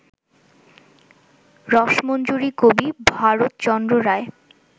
রসমঞ্জরী কবি ভারতচন্দ্র রায়